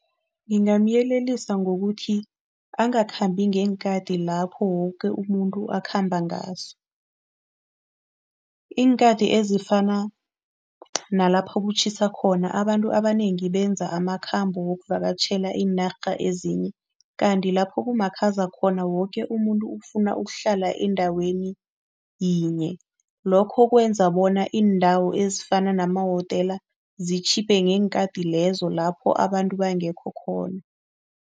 Ngingamyelelisa ngokuthi angakhambi ngeenkhati lapho woke umuntu akhamba ngaso. Iinkhathi ezifana nalapho kutjhisa khona abantu abanengi benza amakhambo wokuvakatjhela iinarha ezinye kanti lapho kumakhaza khona woke umuntu ukufuna ukuhlala endaweni yinye. Lokho kwenza bona iindawo ezifana namahotela zitjhiphe ngeenkhati lezo lapho abantu bangekho khona.